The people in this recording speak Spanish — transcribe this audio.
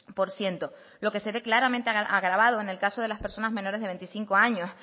por ciento lo que se ve claramente agravado en el caso de las personas menores de veinticinco años